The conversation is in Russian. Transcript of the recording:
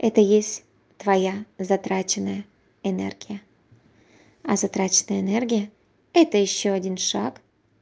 это есть твоя затраченная энергия а затраченная энергия это ещё один шаг